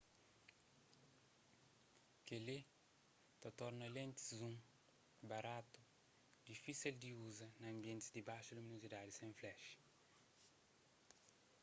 kel-li ta torna lentis zoom baratu difísel di uza na anbientis di baxu luminozidadi sen flashi